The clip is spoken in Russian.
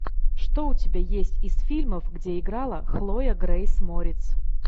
что у тебя есть из фильмов где играла хлоя грейс морец